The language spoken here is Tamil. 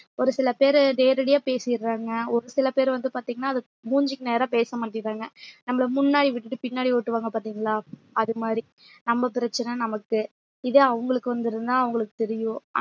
ஒருசில பேர் நேரடியா பேசிறாங்கா ஒரு சில பேர் வந்து பாத்திங்கன்னா மூஞ்சிக்கு நேரா பேசமாட்டுறாங்க நம்மள முன்னாடி விட்டுட்டு பின்னாடி ஓட்டுவாங்க பாத்திங்களா அதுமாறி நம்ப பிரச்சன நமக்கு இதே அவங்களுக்கு வந்துருந்தா அவங்களுக்கு தெரியும்